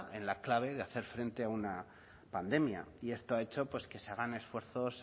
en la clave de hacer frente a una pandemia y esto ha hecho que se hagan esfuerzos